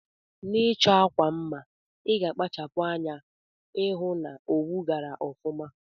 Na ichọ akwa mma iga akpachapu anya ihụ na owu gara ọfuma.